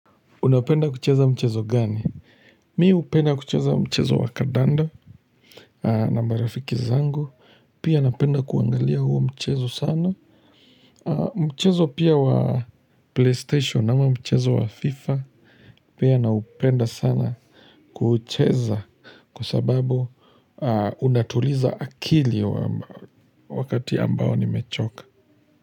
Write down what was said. Unapenda kucheza mchezo gani? Mi hupenda kucheza mchezo wa kadanda na marafiki zangu. Pia napenda kuangalia huo mchezo sana. Mchezo pia wa PlayStation ama mchezo wa FIFA. Pia naupenda sana kucheza kwa sababu unatuliza akili wakati ambao nimechoka.